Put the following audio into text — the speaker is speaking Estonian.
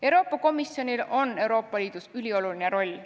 Euroopa Komisjonil on Euroopa Liidus ülioluline roll.